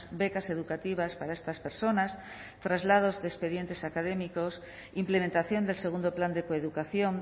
becas educativas para estas personas traslados de expedientes académicos implementación del segundo plan de coeducación